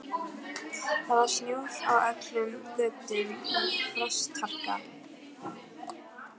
Það var snjór á öllum götum og frostharka.